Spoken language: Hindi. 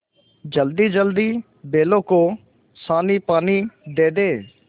जल्दीजल्दी बैलों को सानीपानी दे दें